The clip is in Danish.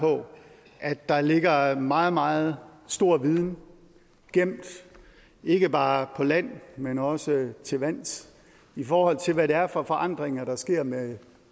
på at der ligger en meget meget stor viden gemt ikke bare på land men også til vands i forhold til hvad det er for forandringer der sker med